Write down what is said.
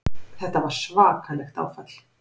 Þetta var svakalegt áfall.